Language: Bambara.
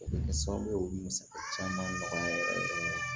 O bɛ kɛ sababu ye k'o bɛ musaka caman nɔgɔya yɛrɛ yɛrɛ de